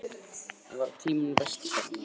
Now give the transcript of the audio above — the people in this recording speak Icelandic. Það var á tímum vesturfaranna.